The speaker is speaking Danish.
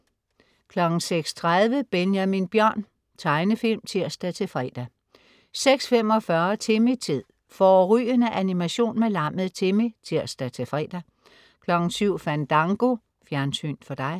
06.30 Benjamin Bjørn. Tegnefilm (tirs-fre) 06.45 Timmy-tid. Fårrygende animation med lammet Timmy (tirs-fre) 07.00 Fandango. Fjernsyn for dig